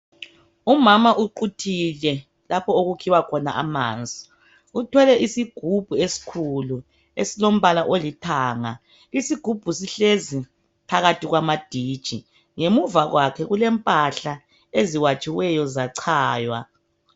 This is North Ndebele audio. Umama uquthile lapho okukhiwa khona amanzi. Uthwele isigubhu esikhulu ,esilombala olithanga. Isigubhu sihlezi phakathi kwamaditshi ,ngemuva kwakhe kulempahla eziwatshiweyo zachaywa.